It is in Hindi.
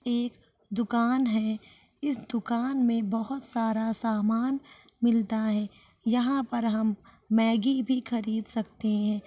एक दुकान है इस दुकान में बोहोत सारा समान मिलता है यहाँ पर हम मेगी भी खरीद सकते हैं।